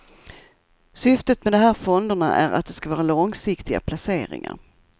Syftet med de här fonderna är att de ska vara långsiktiga placeringar.